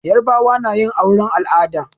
Yarbawa na yin auren al'ada.